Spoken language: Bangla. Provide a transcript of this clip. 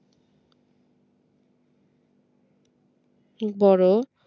বড়